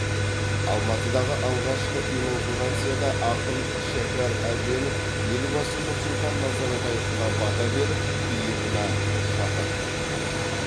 алматыдағы алғашқы инаугурацияда ақын шәкер әбенов елбасы нұрсұлтан назарбаевқа бата беріп иығына шапан жапты